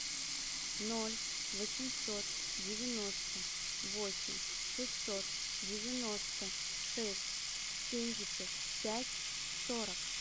ноль восемьсот девяносто восемь шестьсот девяносто шесть семьдесят пять сорок